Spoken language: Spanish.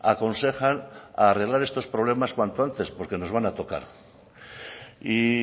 aconsejan arreglar estos problemas cuanto antes porque nos van a tocar y